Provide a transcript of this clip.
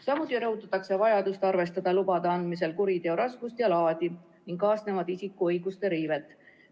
Samuti rõhutatakse vajadust arvestada lubade andmisel kuriteo raskust ja laadi ning kaasnevat isiku õiguste riivet.